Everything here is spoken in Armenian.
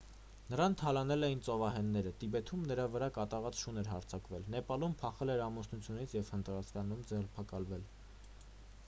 նրան թալանել էին ծովահենները տիբեթում նրա վրա կատաղած շուն էր հարձակվել նեպալում փախել էր ամուսնությունից և հնդկաստանում ձերբակալվել